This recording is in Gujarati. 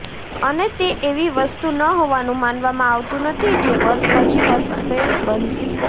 અને તે એવી વસ્તુ ન હોવાનું માનવામાં આવતું નથી જે વર્ષ પછી વર્ષે બનશે